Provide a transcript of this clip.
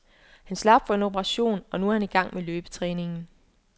Han slap for en operation, og nu er han i gang med løbetræningen.